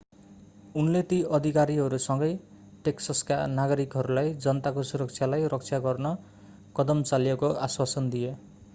उनले ती अधिकारीहरूसँगै टेक्ससका नागरिकहरूलाई जनताको सुरक्षालाई रक्षा गर्न कदम चालिएको आश्वासन दिए